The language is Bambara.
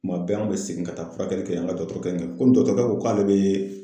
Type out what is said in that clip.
Kuma bɛɛ an bɛ segin ka taa furakɛli kɛ yen an ka dɔgɔtɔrɔkɛ komi dɔkɔtɔrɔkɛ ko ko k'ale bɛ